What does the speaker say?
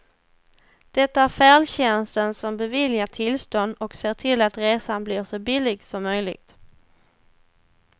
Det är färdtjänsten som beviljar tillstånd och ser till att resan blir så billig som möjligt.